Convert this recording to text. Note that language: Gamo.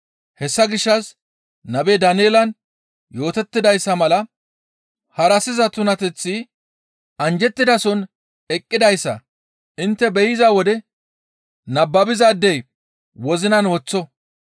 «Hessa gishshas nabe Daaneelan yootettidayssa mala, ‹Harassiza tunateththi› anjjettidason eqqidayssa intte be7iza wode nababizaadey wozinan woththo;